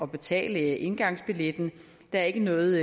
betale indgangsbilletten der er ikke noget